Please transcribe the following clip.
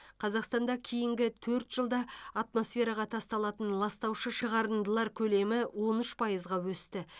қазақстанда кейінгі төрт жылда атмосфераға тасталатын ластаушы шығарындылар көлемі он үш пайызға өсті